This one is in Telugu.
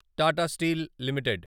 Tata steel limited